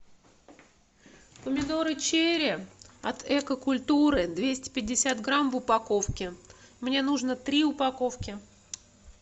помидоры черри от экокультуры двести пятьдесят грамм в упаковке мне нужно три упаковки